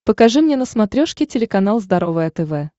покажи мне на смотрешке телеканал здоровое тв